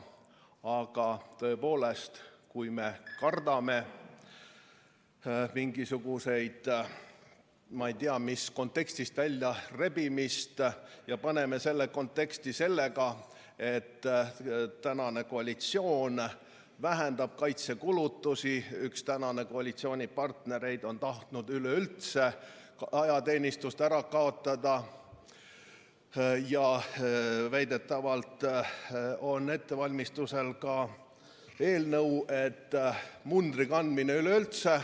Aga tõepoolest, kui me kardame mingisugust ei tea mis kontekstist väljarebimist ja paneme selle konteksti sellega, et praegune koalitsioon vähendab kaitsekulutusi ja üks praegusest koalitsioonipartneritest on tahtnud üleüldse ajateenistust ära kaotada ja väidetavalt on ettevalmistamisel ka eelnõu, et mundri kandmine üleüldse ...